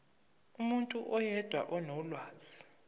umuntu oyedwa onolwazi